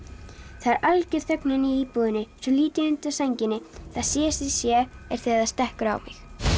það er alger þögn inni í íbúðinni svo lít ég undan sænginni það síðasta sem ég sé er þegar það stekkur á mig